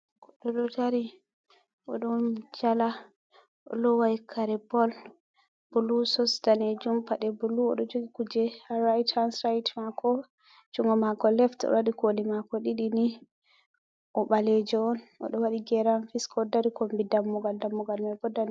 Goɗɗo ɗo dari Odo jala, o lowai kare booll bulu, soks danejum paɗe blue, oɗo jogi kuje ha right hand site mako, jungo mako left oɗo waɗi koli mako ɗiɗi ni .O ɓalejo on. Oɗo waɗi geran fiska, oɗo dari kombi dammugal, dammugal mai bo.